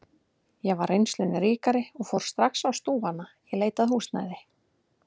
Ég var reynslunni ríkari og fór strax á stúfana í leit að húsnæði.